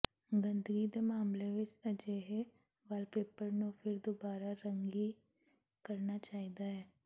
ਗੰਦਗੀ ਦੇ ਮਾਮਲੇ ਵਿੱਚ ਅਜਿਹੇ ਵਾਲਪੇਪਰ ਨੂੰ ਫਿਰ ਦੁਬਾਰਾ ਰੰਗੀ ਕਰਨਾ ਚਾਹੀਦਾ ਹੈ